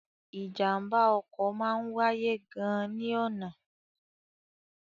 Ìjàmbá ọkọ máa ń wáyé gan ni ọna.